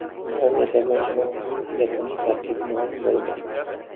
Daniya terma jamoasining yakuniy tarkibi ma’lum bo‘ldi.